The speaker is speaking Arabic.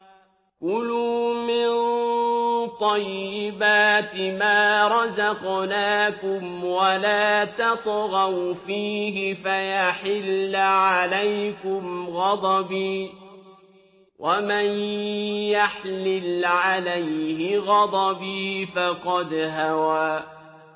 كُلُوا مِن طَيِّبَاتِ مَا رَزَقْنَاكُمْ وَلَا تَطْغَوْا فِيهِ فَيَحِلَّ عَلَيْكُمْ غَضَبِي ۖ وَمَن يَحْلِلْ عَلَيْهِ غَضَبِي فَقَدْ هَوَىٰ